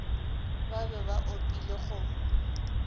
ba be ba opile kgomo